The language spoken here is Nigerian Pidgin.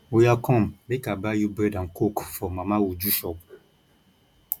oya come make i buy you bread and coke for mama uju shop